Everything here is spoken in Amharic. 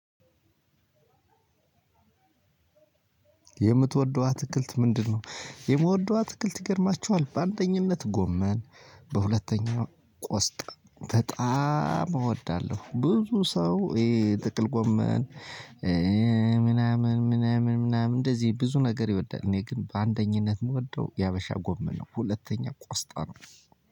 የምትወደው አትክልት ምንድነው የምወደው አትክልት ይገርማችኋል በአንደኝነት ጎመን በሁለተኛው ቆስጣ በጣም እወዳለው ብዙ ሰው እሄ ጥቅል ጎመን ምናምን ምናምን ምናምን እንደዚህ ብዙ ነገር ይወዳል እኔ ግን በአንደኝነት ምወደው የሀበሻ ጎመን ነው ሁለተኛ ቆስጣ ነው።